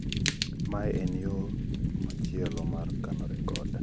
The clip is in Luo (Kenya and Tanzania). mae en yo machielo mar kano rekod